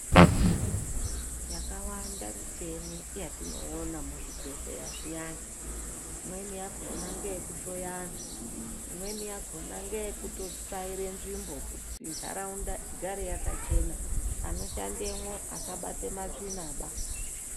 Yakawanda micheni yetinoona muzvibhedhlera zviyani, imweni yakhona ngeyekuhloya antu, imweni yakhona ngeyekutsvaire nzvimbo kuti ntaraunda igare yakachena, anoshandemwo asabate matsvinaba.